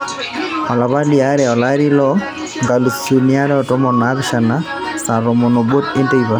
olapa liare olari loo nkalisuni are tomon o naapishana saa tomon obo teipa